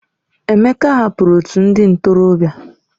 Emeka hapụrụ otu ndị ntorobịa.